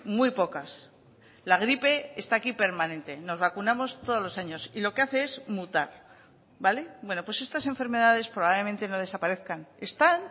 muy pocas la gripe está aquí permanente nos vacunamos todos los años y lo que hace es mutar vale bueno pues estas enfermedades probablemente no desaparezcan están